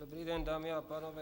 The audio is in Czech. Dobrý den, dámy a pánové.